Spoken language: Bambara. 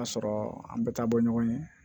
A sɔrɔ an bɛ taa bɔ ɲɔgɔn ye